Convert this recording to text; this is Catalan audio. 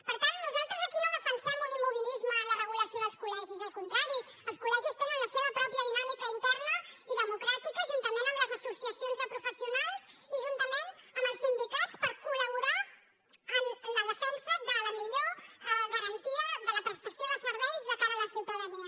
per tant nosaltres aquí no defensem un immobilisme en la regulació dels col·legis al contrari els col·legis tenen la seva pròpia dinàmica interna i democràtica juntament amb les associacions de professionals i juntament amb els sindicats per colde la millor garantia de la prestació de serveis de cara a la ciutadania